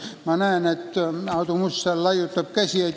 Ma näen, et Aadu Must laiutab käsi.